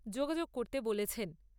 যোগাযোগ করতে বলেছেন।